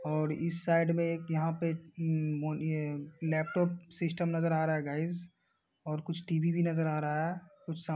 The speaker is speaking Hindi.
और इस साइड में एक यहां पे ये लैपटॉप सिस्टम नजर आ रहा है गाइस और कुछ टीवी भी नजर आ रहा है। कुछ साम --